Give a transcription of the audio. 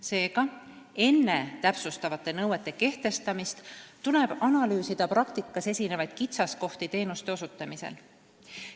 Seega, enne täpsustavate nõuete kehtestamist tuleb analüüsida praktikas esinevaid kitsaskohti teenuste osutamisel.